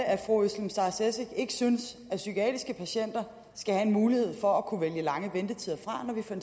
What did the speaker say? at fru özlem sara cekic ikke synes at psykiatriske patienter skal have en mulighed for at kunne vælge lange ventetider fra